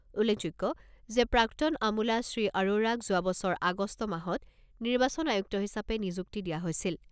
উল্লেখযোগ্য যে প্ৰাক্তন আমোলা শ্ৰী আৰোৰাক যোৱা বছৰ আগষ্ট মাহত নিৰ্বাচন আয়ুক্ত হিচাপে নিযুক্তি দিয়া হৈছিল।